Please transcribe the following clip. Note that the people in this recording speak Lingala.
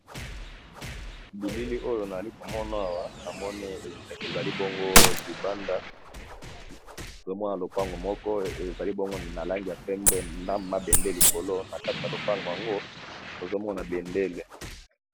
bilili oyo nazali komonawa namoni eske ezali bongo libanda ozomona lopango moko ezali bongo na langeya pembe na mabende likolo na kata ya lopango yango tozomona bendele